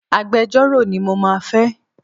Agbejọ́rò ni mo máa fẹ́.